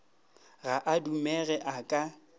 ga a dumege a ka